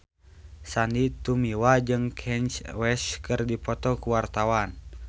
Sandy Tumiwa jeung Kanye West keur dipoto ku wartawan